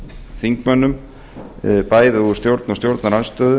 þingmönnum bæði úr stjórn og stjórnarandstöðu